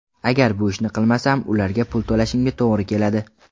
Agar bu ishni qilmasam, ularga pul to‘lashimga to‘g‘ri keladi.